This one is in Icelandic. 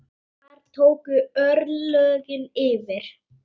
Þar tóku örlögin yfir.